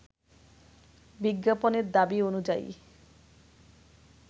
বিজ্ঞাপনের দাবি অনুযায়ী